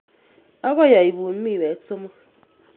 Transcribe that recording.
Akoi aipun miwek somok.